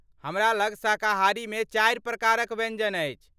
हमरा लग शाकाहारीमे चारि प्रकारक व्यञ्जन अछि।